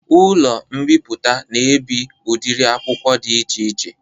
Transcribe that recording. Ụlọ mbiputa na ebi udiri akwụkwọ dị iche iche